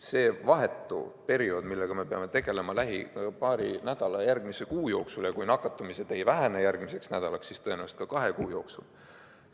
See on vahetu periood, millega me peame tegelema lähima paari nädala ja järgmise kuu jooksul ning kui nakatumised ei vähene järgmiseks nädalaks, siis tõenäoliselt ei vähene ka kahe kuu jooksul.